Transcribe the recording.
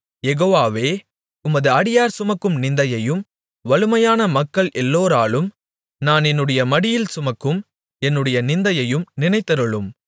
யெகோவாவே உமது அடியார் சுமக்கும் நிந்தையையும் வலுமையான மக்கள் எல்லோராலும் நான் என்னுடைய மடியில் சுமக்கும் என்னுடைய நிந்தையையும் நினைத்தருளும்